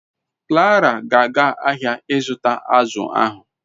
Clara ga aga ahia I zuta azu ahu